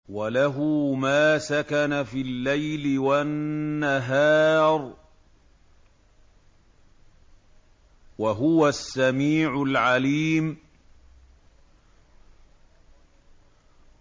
۞ وَلَهُ مَا سَكَنَ فِي اللَّيْلِ وَالنَّهَارِ ۚ وَهُوَ السَّمِيعُ الْعَلِيمُ